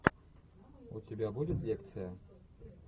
у тебя будет лекция